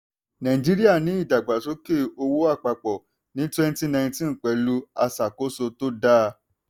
nàìjíríà ni ìdàgbàsókè owó àpapọ̀ ní twenty nineteen pẹ̀lú àṣàkóso tó dáa.